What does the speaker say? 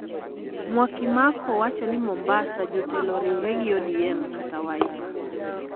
Mwakimako wacho ni Mombasa, jotelo oriwre gi ODM kata Wiper